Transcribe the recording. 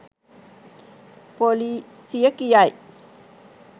පොලිසිය කියයි.